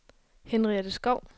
Henriette Skou